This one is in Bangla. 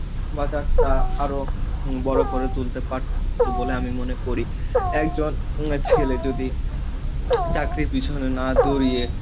বাজারটা আরো বড় করে তুলতে পারত বলে আমি মনে করি, একজন উম ছেলে যদি চাকরির পিছনে না দৌড়ইয়ে,